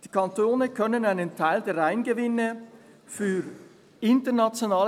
«Die Kantone können einen Teil der Reingewinne für [...